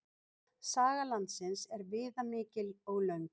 Saga landsins er viðamikil og löng.